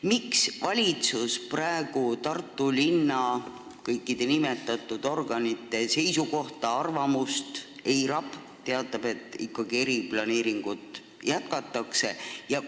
Miks valitsus praegu Tartu linna kõikide nimetatud organite ja elanike arvamust eirab ja teatab, et eriplaneeringut ikkagi jätkatakse?